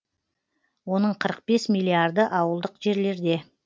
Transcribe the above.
оның қырық бес миллиарды ауылдық жерлерде